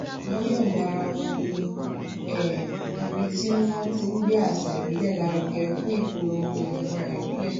wọn yọǹda ara won ní um ibi tí wọn ti ń gbé àṣà ìbílẹ lárugẹ fun ipolongo imura ibile